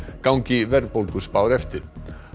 gangi verðbólguspár eftir